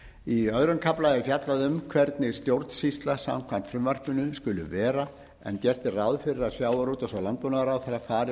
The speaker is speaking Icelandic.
í öðrum kafla er fjallað um hvernig stjórnsýsla samkvæmt frumvarpinu skuli vera en gert er ráð fyrir að sjávarútvegs og landbúnaðarráðherra fari